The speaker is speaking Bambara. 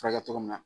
Furakɛ cogo min na